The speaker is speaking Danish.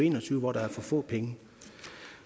en og tyve hvor der er for få penge